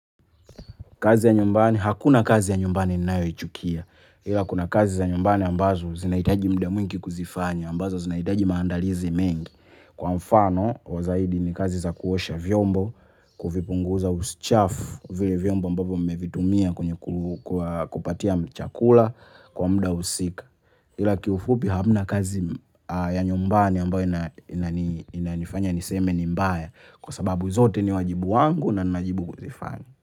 Kazi ya nyumbani, hakuna kazi ya nyumbani ninayoichukia. Ila kuna kazi za nyumbani ambazo zinahitaji muda mwingi kuzifanya, ambazo zinaitaji maandalizi mengi. Kwa mfano wa zaidi ni kazi za kuosha vyombo, kuvipunguza usichafu vile vyombo ambavyo mmevitumia kwenye kupatia chakula kwa muda husika. Ila kiufupi hamna kazi ya nyumbani ambayo inani inanifanya niseme ni mbaya kwa sababu zote ni wajibu wangu na ninajibu kuzifanya.